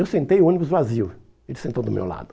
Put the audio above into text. Eu sentei o ônibus vazio, ele sentou do meu lado.